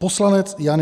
Poslanec Jan